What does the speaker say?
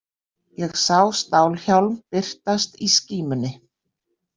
Ég sá stálhjálm birtast í skímunni.